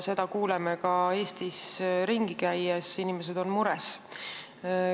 Seda kuuleme ka Eestis ringi käies, inimesed on mures.